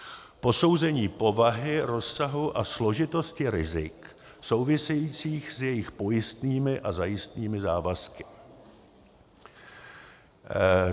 posouzení povahy, rozsahu a složitosti rizik souvisejících s jejich pojistnými a zajistnými závazky;